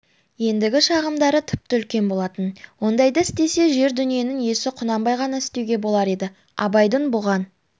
ендігі шағымдары тіпті үлкен болатын ондайды істесе жер-дүниенің иесі құнанбай ғана істеуге болар еді абайдың бұған